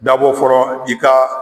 Dabɔ fɔlɔ i ka